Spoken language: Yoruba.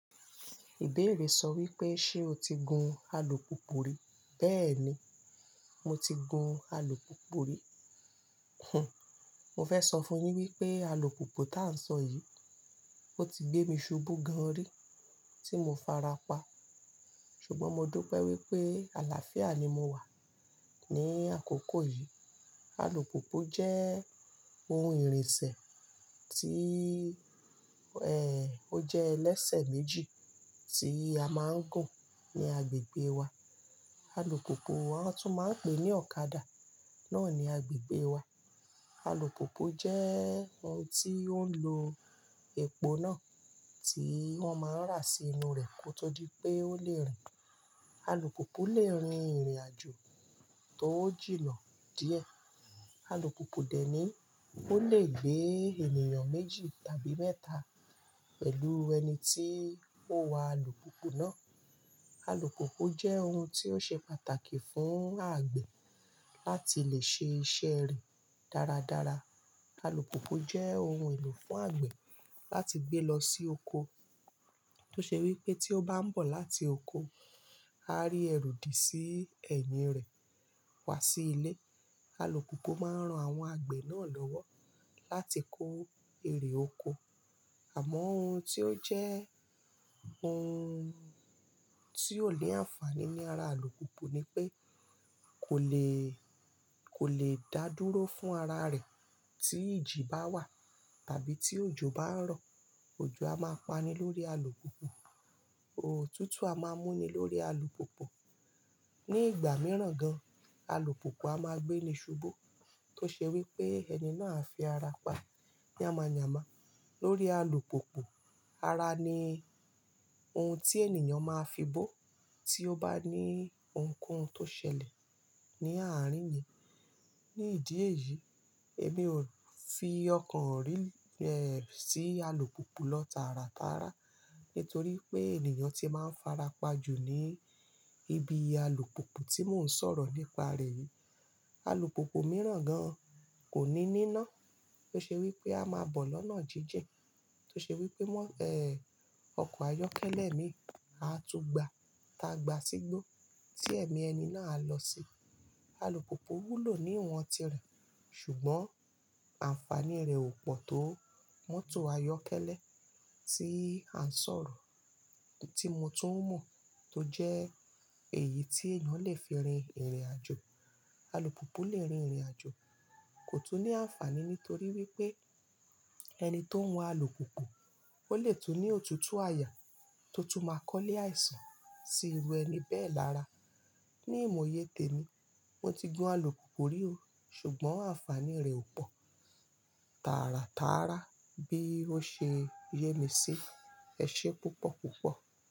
Ìbéèrè sọ wípé ṣe o ti gun alùpùpù rí? Bẹ́ẹ̀ni mo ti gun alùpùpù rí. Mo fẹ́ sọ fún yi wípé alùpùpù táà ń sọ yìí, ó ti gbé mi ṣubú gan rí tí mo farapa. Ṣùgbọ́n mo du pé wípé àlàáfíà ni mo wà ní àkókò yìí. Alùpùpù jẹ́ ohun ìrìnsẹ̀ tí, ẹ́, ó jẹ́ ẹlẹ́sẹ̀ méjì tí a máa ń gùn ní agbègbè wa. Alùpùpù wọ́n tún máa ń pè ní ọ̀kadà náà ní agbègbè wa. Alùpùpù jẹ́ ohun tí ó ń lo epo náà tí wọ́n máa ń rà sí inú rẹ̀ kí o tó di pé ó lè rìn. Alùpùpù lè rin ìrìnàjò tó jìnà díẹ̀. Alùpùpù dẹ̀ ní ó lè gbé ènìyàn méjì tàbí mẹ́ta pẹ̀lú ẹni tí ó n wa alùpùpù náà. Alùpùpù jẹ́ ohun tí ó ṣe pàtàkì fún àgbẹ̀ láti lè ṣe iṣẹ́ rẹ̀ dáradára. Alùpùpù jẹ́ ohun èlò fún àgbẹ̀ láti gbé lọ sí oko. Tó ṣe wípé tí ó bá ń bọ̀ láti oko, a rí ẹ̀rù dí sí ẹ̀yìn rẹ̀ wá sí ilé. Alùpùpù máa ń ran àwọn àgbẹ̀ náà lọ́wọ́ láti kó èrè oko. Àmọ́ ohun tí ó jẹ́ ohun tí ó ni àǹfààní ní ara alùpùpù ni pé kò lè, kò lè dá dúró fún ara rẹ̀ tí ìjì bá wà tàbí tí òjò bá ń rọ̀. Ojo a máa pani lórí alùpùpù. Òtútù a máa mú ni lórí alùpùpù. Ní ìgbà mìíràn gan-an, alùpùpù a máa gbé ni ṣubú. Tó ṣe wípé ẹni náà á fi ara pa yamayama lórí alùpùpù. Ara ni ohun tí ènìyàn máa fibó tí ó bá ní ohunkóhun tó ṣẹlẹ̀ ní àárín yẹn. Ní ìdí èyí, èmi ò fi ọkàn rí, sí alùpùpù lọ tàràtàrà nítorí pé ènìyàn tí máa ń farapa jù ní ibi alùpùpù tí mò ń sọ̀rọ̀ nípa rẹ̀ yìí. Alùpùpù mìíràn gan-an kò ní níná tó ṣe wípé a máa bọ̀ lọ́nà jíjin. Tó ṣe wípé mọ́, ọkọ̀ ayọ́kẹ́lẹ́ mii a tún gba tàgbà sígbó tí ẹ̀mí ẹni náà á lọ sí. Alùpùpù wúlò ní ìwọ̀n tirẹ̀, ṣùgbọ́n àǹfààní rẹ̀ ò pọ̀ tó mọ́tò ayọ́kẹ́lẹ́ tí à ń sọ̀rọ̀ tí mo tún mọ̀ tó jẹ́ èyí tí èèyàn lè fi rin ìrìnàjò. Alùpùpù lè rin ìrìnàjò kò tún ní àǹfààní nítorí wípé ẹni tó ń wa alùpùpù ó lè tún ní òtútù àyà tó tún máa kọ́lé àìsàn sí irú ẹni bẹ́ẹ̀ lára. Ní ìmọ̀yé tèmi, mo ti gun alùpùpù rí o, ṣùgbọ́n àǹfààní rẹ̀ ò pọ̀ tàràtàrà bí ó ṣe yé mi sí. Ẹ ṣe púpọ̀ púpọ̀.